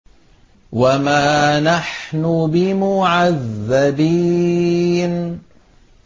وَمَا نَحْنُ بِمُعَذَّبِينَ